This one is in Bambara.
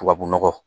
Tubabu nɔgɔ